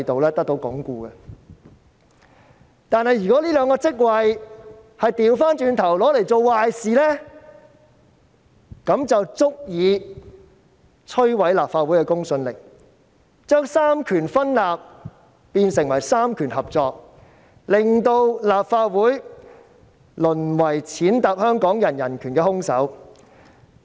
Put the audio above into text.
然而，當出任這兩個職位的人倒過來做壞事，便足以摧毀立法會的公信力，將三權分立變成三權合作，令立法會淪為踐踏香港人人權的兇手。